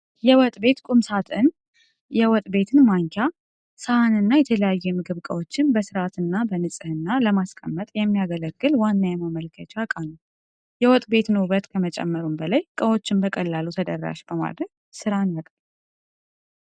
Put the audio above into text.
የወጥ ቤት ቁም ሣጥን የወጥ ቤትን ማንኪያ፣ ሳህንና የተለያዩ የምግብ ዕቃዎችን በሥርዓትና በንጽሕና ለማስቀመጥ የሚያገለግል ዋና የማከማቻ ዕቃ ነው። የወጥ ቤትን ውበት ከመጨመሩም በላይ፣ ዕቃዎችን በቀላሉ ተደራሽ በማድረግ ሥራን ያቀላል።